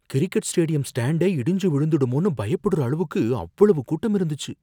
Cricket stadium ஸ்டாண்டே இடிஞ்சு விழுந்துடுமோன்னு பயப்புடற அளவுக்கு அவ்வளவு கூட்டம் இருந்துச்சு.